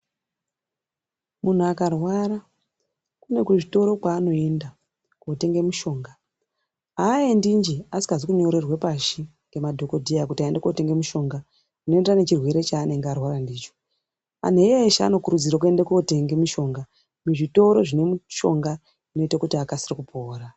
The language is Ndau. Muntu akarwara kune kuzvitoro kwaanoenda kotenge mishonga, aaendi nje asikazi kunyorerwa pashi ngemadhokodheya kuti aende kotenge mushonga unoenderana nechirwere chaanenge arwara ndicho, antu eshe anokurudzirwa kuende kotenge mishonga muzvitoro zvine mishonga inoita kuti akasire kupora.